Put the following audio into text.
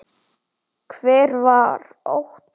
Hver var Óttar?